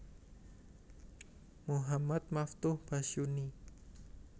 Muhammad Maftuh Basyuni